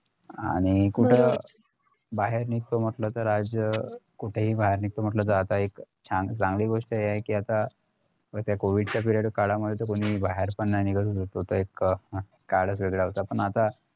आणि कुठं बाहेर निघतो म्हंटल तर आज कुठेही बाहेर निघतो म्हंटलं तर आता एक छान चांगली गोष्ट हि आहे कि आता व त्या covid period काळामध्ये तर तुम्ही बाहेर पण नाही निघ होतो तरी पण एक काळ वेगळा होता पण आता